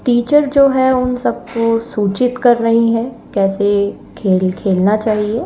Teacher जो है उन सबको सूचित कर रही है कैसे खेल खेलना चाहिए।